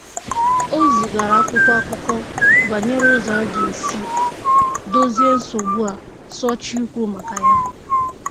O zigara akwụkwọ akụkọ banyere ụzọ a ga-esi dozie nsogbu a sochie ikwu maka ya.